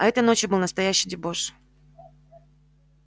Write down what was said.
а этой ночью был настоящий дебош